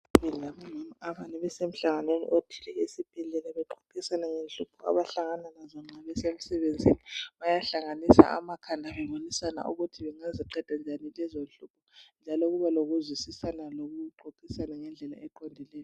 Ngomama abane bese mhlanganweni othile esibhedlela bexoxisana ngenhlupho abahlangana lazo besemsebenzini .Bayahlanganisa amakhanda bebonisana ukuthi bangaziqeda njani lezo nhlupho . Njalo kuba lokuzwisisana lokuxoxisana ngendlela eqondileyo.